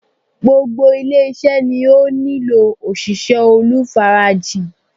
Gbogbo ilé-iṣẹ́ ni ó nílò òṣìṣẹ́ olùfarajìn.